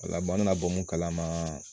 O la an mi na bɔ mun kalama